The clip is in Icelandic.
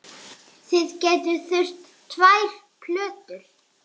Þið gætuð þurft tvær plötur.